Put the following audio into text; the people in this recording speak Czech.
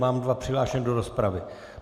Mám dva přihlášené do rozpravy.